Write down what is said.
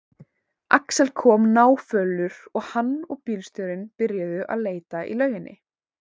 Axel kom náfölur og hann og bílstjórinn byrjuðu að leita í lauginni.